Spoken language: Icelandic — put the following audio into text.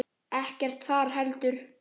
Ekkert þar heldur.